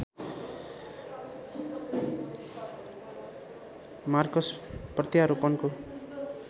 Marcus प्रत्यारोपणको